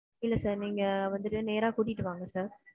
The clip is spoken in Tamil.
இல்ல சார் நீங்க வந்துட்டு நேர கூட்டிட்டு வாங்க சார்.